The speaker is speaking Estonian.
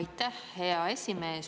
Aitäh, hea esimees!